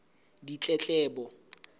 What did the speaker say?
ditletlebo